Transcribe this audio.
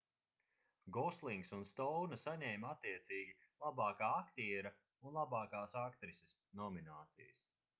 goslings un stouna saņēma attiecīgi labākā aktiera un labākās aktrises nominācijas